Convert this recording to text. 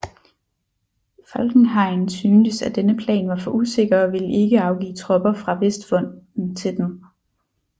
Falkenhayn syntes at denne plan var for usikker og ville ikke afgive tropper fra Vestfronten til den